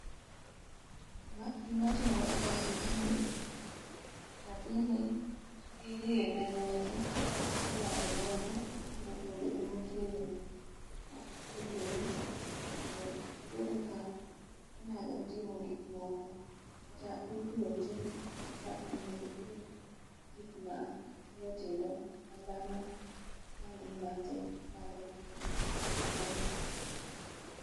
gima timore kae en ni nyathini irie ne lwete kata irwayo lwete mondo obed motegno mowinjore mondo obed ka onyalo timo gik moko kata ipuonje kaka onego oting gik matindo tindo madhano mangima te nyalo timo e yo mayot